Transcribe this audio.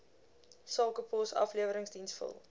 sakepos afleweringsdiens vul